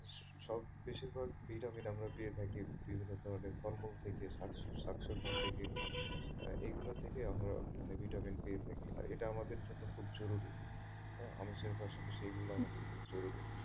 সব বেশির ভাগ vitamin কিন্তু আমরা পেয়ে থাকি বিভিন্ন ধরনের ফল মূল থকে শাকসবজি থেকে এগুলো থেকে আমরা আমাদের vitamin পেয়ে থাকি আর এটা আমাদের জন্য খুব জরুরি তাই আমিষের পাশাপাশি এগুলো আমাদের খুব জরুরি।